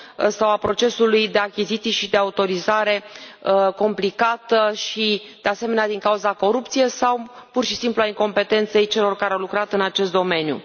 sau a procesului de achiziții și de autorizare complicată și, de asemenea, din cauza corupției sau pur și simplu a incompetenței celor care au lucrat în acest domeniu.